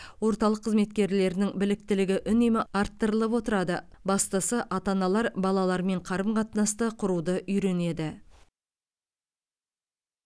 орталық қызметкерлерінің біліктілігі үнемі арттырылып отырады бастысы ата аналар балаларымен қарым қатынасты құруды үйренеді